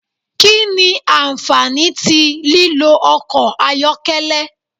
Kí nì ànfàní tí lílò ọkọ ayọkẹlẹ?